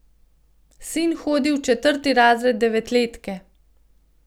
Sin hodi v četrti razred devetletke.